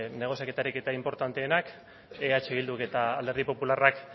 negoziaketa ariketa inportanteenak eh bilduk eta alderdi popularrak